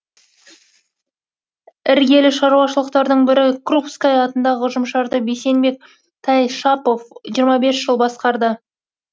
іргелі шаруашылықтардың бірі крупская атындағы ұжымшарды бейсенбек тайшапов жиырма бес жыл басқарды